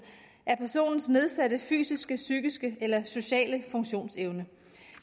er personens nedsatte fysiske psykiske eller sociale funktionsevne